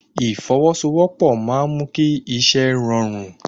Ìfọwọ́sowọ́pọ̀ máa ń mú kí iṣẹ́ rọrùn